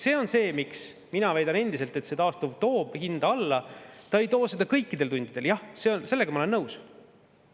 See on see, miks ma väidan endiselt, et taastuv toob hinda alla – mitte kõikidel tundidel, jah, sellega ma olen nõus.